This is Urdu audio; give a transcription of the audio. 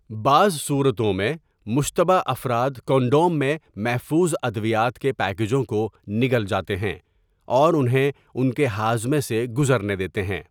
بعض صورتوں میں، مشتبہ افراد کنڈوم میں محفوظ ادویات کے پیکجوں کو نگل جاتے ہیں اور انہیں ان کے ہاضمے سے گزرنے دیتے ہیں۔